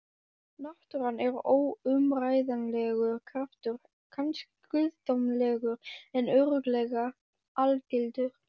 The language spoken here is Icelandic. Náttúran er óumræðilegur kraftur, kannski guðdómlegur en örugglega algildur.